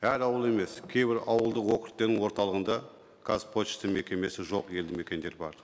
әр ауыл емес кейбір ауылдық округтердің орталығында қазпошта мекемесі жоқ елді мекендер бар